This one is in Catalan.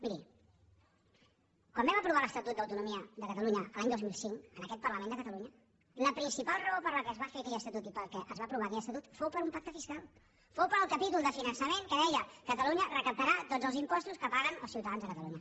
miri quan vam aprovar l’estatut d’autonomia de catalunya l’any dos mil cinc en aquest parlament de catalunya la principal raó per què es va fer aquell estatut i per què es va aprovar aquell estatut fou per un pacte fiscal fou pel capítol de finançament que deia catalunya recaptarà tots els impostos que paguen els ciutadans de catalunya